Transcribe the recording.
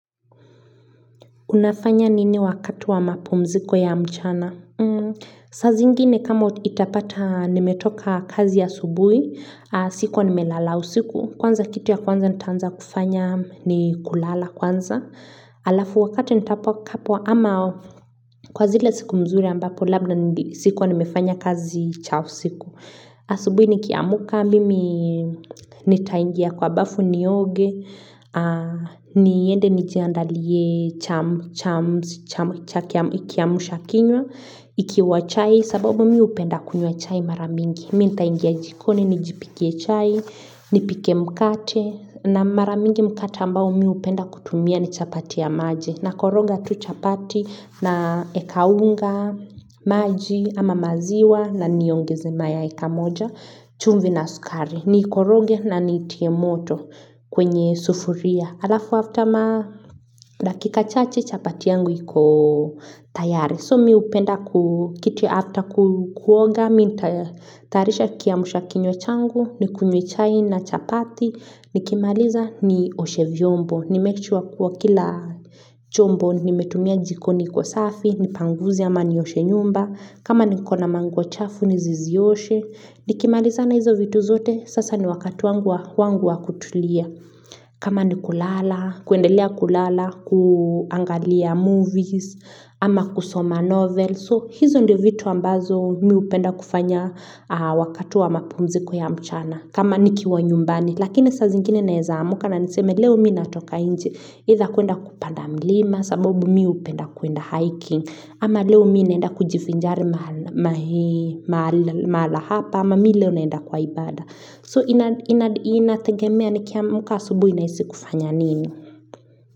Unafanya nini wakati wa mapumziko ya mchana? Sazi ingine kama itapata nimetoka kazi ya asubuhi, siku wa nimelala usiku. Kwanza kitu ya kwanza nitaanza kufanya ni kulala kwanza. hAlafu wakati nitapwa kapwa ama kwa zile siku mzuri ambapo labda niti siku wa nimefanya kazi cha usiku. aSubuhi nikiamuka mimi nitaingia kwa bafu ni oge. Niende nijiandalie chams ikiamshakinywa ikiwa chai sababu mi hupenda kunywa chai maramingi minta ingia jikoni, nijipike chai nipike mkate na maramingi mkate ambao mi hupenda kutumia ni chapati ya maji na koroga tu chapati naekaunga maji ama maziwa na niongeze mayai ka moja chumvi na sukari niikoroge na niitie moto kwenye sufuria hAlafu afta ma dakika chache chapati yangu iko tayari So mi hupenda kukitu hafta Kuoga Mi tayarisha kiamsha kinywa changu Nikunywechai na chapati Nikimaliza ni oshe vyombo Nimake sure kuwa kila chombo nimetumia jikoni iko safi Nipanguze ama ni oshe nyumba kama nikona manguo chafu Nisizioshe Nikimaliza na hizo vitu zote Sasa ni wakati wangu wa kutulia kama ni kulala, kuendelea kulala, kuangalia movies, ama kusoma novel So hizo ndio vitu ambavyo mi hupenda kufanya wakati wa mapumziko ya mchana kama niki wa nyumbani, lakini sa zingine naeza amuka na niseme leo mi natoka inje either tha kuenda kupanda mlima, sababu mi hupenda kuenda hiking ama leo mi naenda kujivinjari mahala hapa, ama mi leo naenda kwa ibada So inategemea ni kia muka asubuhi nahisi kufanya nini.